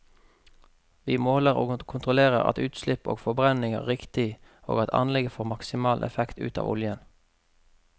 Vi måler og kontrollerer at utslipp og forbrenning er riktig og at anlegget får maksimal effekt ut av oljen.